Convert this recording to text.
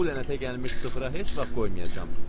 Bu lənətə gəlmiş sıfıra heç vaxt qoymayacam.